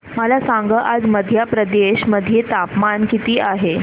मला सांगा आज मध्य प्रदेश मध्ये तापमान किती आहे